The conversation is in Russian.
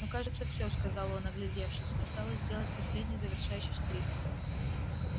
ну кажется всё сказал он оглядевшись осталось сделать последний завершающий штрих